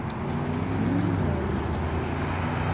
фильм бои без правил